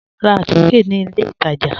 Rá àtìké ní ilẹ̀ ìtajá